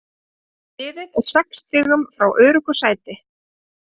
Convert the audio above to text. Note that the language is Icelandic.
Liðið er sex stigum frá öruggu sæti.